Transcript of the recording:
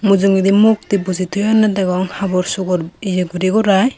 mujungedi mukti bojey toyunney degong habor subor iye guri guray.